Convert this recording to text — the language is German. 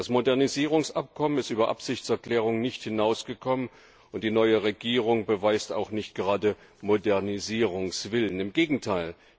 Das Modernisierungsabkommen ist über Absichtserklärungen nicht hinausgekommen, und die neue Regierung beweist auch nicht gerade Modernisierungswillen. Im Gegenteil.